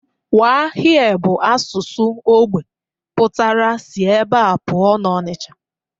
Waa here bụ asụsụ ógbè pụtara si ebe a pụọ n'Onicha